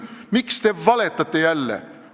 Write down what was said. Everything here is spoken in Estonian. Miks te jälle valetate?